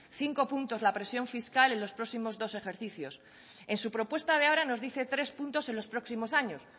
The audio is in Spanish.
cinco puntos la presión fiscal en los próximos dos ejercicios en su propuesta de ahora nos dice tres puntos en los próximos años